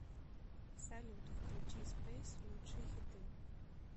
салют включи спейс лучшие хиты